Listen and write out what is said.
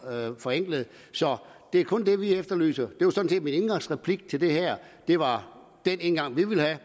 forenklet så det er kun det vi efterlyser det var sådan set min indgangsreplik til det her og det var den indgang vi ville have